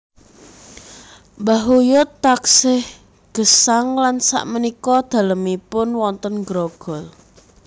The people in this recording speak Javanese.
Mbah uyut taksih gesang lan sak menika dalemipun wonten Grogol